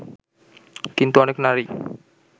কিন্তু অনেক নারী